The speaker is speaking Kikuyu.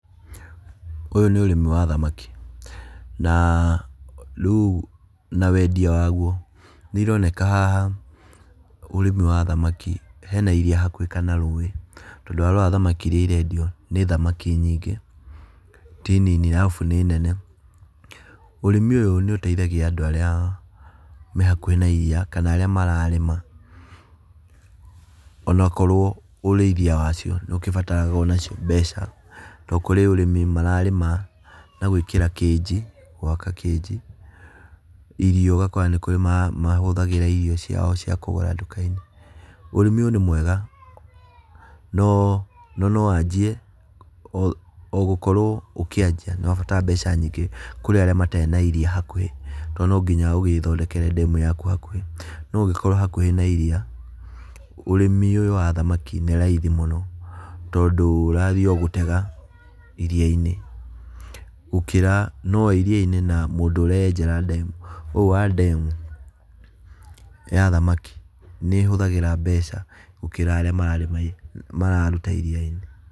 Ũyũ nĩ ũrĩmi wa thamaki, na rĩu na wendia waguo, nĩironeka haha ũrĩmi wa thamaki, hena iria hakuhĩ kana rũĩ, tondũ warora thamaki iria irendio nĩ nyingĩ ti nini, arabu nĩ nene. Ũrĩmi ũyũ nĩũteithagia andũ arĩa me hakuhĩ na iria kana arĩa mararĩma, ona okorwo ũrĩithia wacio nĩũkĩbataraga onacio mbeca, tondũ kũrĩ ũrĩmi mararĩma na gwĩkĩra kĩnji, gwaka kĩnji. Irio ũgakora nĩ kũrĩ mahũthagĩra irio ciao cia kũgũra nduka-inĩ. Ũrĩmi ũyũ nĩ mwega, no nowanjie o gũkorwo ũkĩanjia nĩũrabatara mbeca nyingĩ kũrĩ arĩa matarĩ na iria hakuhĩ tondũ no nginya ũgĩthondekere ndemu yaku hakuhĩ. No ũngĩkorwo hakuhĩ na iria, ũrĩmi ũyũ wa thamaki nĩ raithi mũno, tondũ ũrathiĩ o gũtega iria-inĩ, gũkĩra no wa iria-inĩ na mũndũ ũrenjera ndemu. Ũyũ wa ndemu ya thamaki nĩĩhũthagĩra mbeca gũkĩra arĩa mararĩma mararuta iria-inĩ.